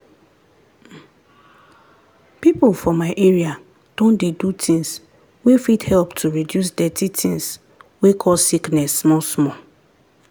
people for my area don dey do things wey fit help to reduce dirty things wey cause sickness small small.